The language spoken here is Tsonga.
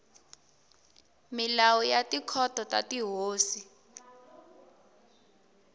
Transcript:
milawu ya tikhoto ta tihosi